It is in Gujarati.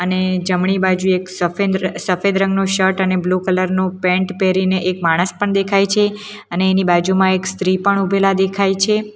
અને જમણી બાજુ એક સફેન્દ સફેદ રંગનો શર્ટ અને બ્લુ કલરનું પેન્ટ પહેરીને એક માણસ પણ દેખાય છે અને એની બાજુમાં એક સ્ત્રી પણ ઊભેલા દેખાય છે.